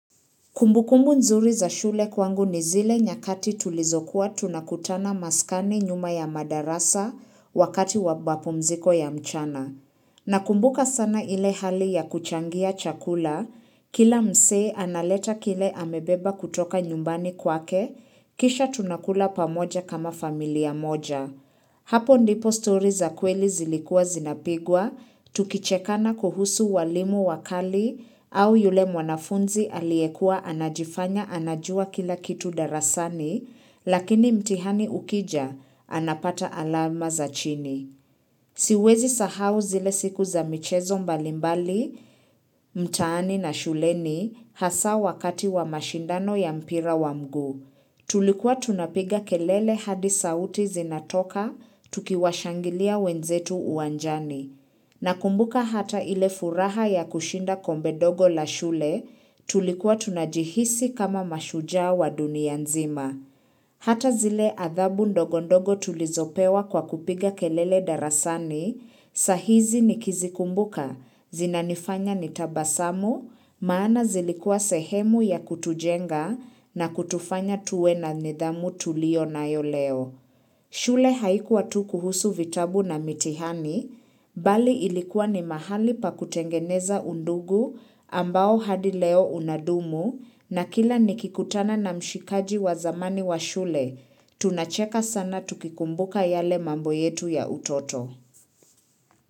Kumbukumbu nzuri za shule kwangu ni zile nyakati tulizokuwa tunakutana maskani nyuma ya madarasa wakati wabapo mziko ya mchana. Nakumbuka sana ile hali ya kuchangia chakula, kila mse analeta kile amebeba kutoka nyumbani kwake, kisha tunakula pamoja kama familia moja. Hapo ndipo story za kweli zilikua zinapigwa, tukichekana kuhusu walimu wakali au yule mwanafunzi aliyekua anajifanya anajua kila kitu darasani, lakini mtihani ukija, anapata alama za chini. Siwezi sahau zile siku za michezo mbalimbali, mtaani na shuleni hasa wakati wa mashindano ya mpira wa mgu. Tulikuwa tunapiga kelele hadi sauti zinatoka tukiwashangilia wenzetu uwanjani. Nakumbuka hata ile furaha ya kushinda kombe dogo la shule tulikuwa tunajihisi kama mashujaa wa dunia nzima. Hata zile adhabu ndogondogo tulizopewa kwa kupiga kelele darasani, sahizi nikizikumbuka, zinanifanya nitabasamu, maana zilikua sehemu ya kutujenga na kutufanya tuwe na nidhamu tulionayo leo. Shule haikuwa tu kuhusu vitabu na mitihani, bali ilikuwa ni mahali pa kutengeneza undugu ambao hadi leo unadumu na kila nikikutana na mshikaji wa zamani wa shule, tunacheka sana tukikumbuka yale mambo yetu ya utoto.